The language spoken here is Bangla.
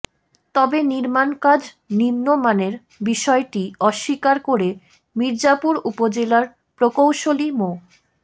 তবে নির্মাণকাজ নিম্নমানের বিষয়টি অস্বীকার করে মির্জাপুর উপজেলার প্রকৌশলী মো